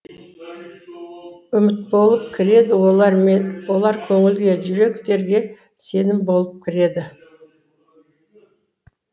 үміт болып кіреді олар көңілге жүректерге сенім болып кіреді